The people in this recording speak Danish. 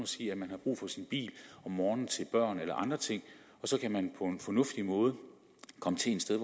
sige at man har brug for sin bil om morgenen til børn eller andre ting og så kan man på en fornuftig måde komme til et sted